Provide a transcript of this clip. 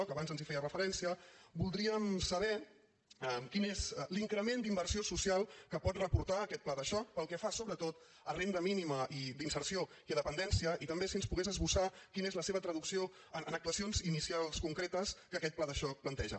abans ens en feia referència voldríem saber quin és l’increment d’inversió social que pot reportar aquest pla de xoc pel que fa sobretot a renda mínima d’inserció i a dependència i també si ens pogués esbossar quina és la seva traducció en actuacions inicials concretes que aquest pla de xoc planteja